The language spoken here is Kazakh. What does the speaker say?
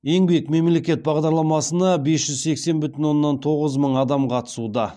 еңбек мемлекет бағдарламасына бес жүз сексен бүтін оннан тоғыз мың адам қатысуда